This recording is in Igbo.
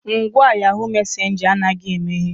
Ngwa yahoo messenger anaghị emeghe.